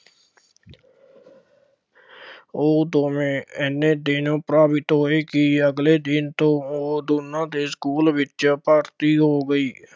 ਉਹ ਦੋਵੇਂ ਐਨੇ ਦਿਨ ਪ੍ਰਭਾਵਿਤ ਹੋਏ ਕਿ ਅਗਲੇ ਦਿਨ ਤੋਂ ਉਹ ਦੋਨਾਂ ਦੇ ਸਕੂਲ ਵਿੱਚ ਭਰਤੀ ਹੋ ਗਈ,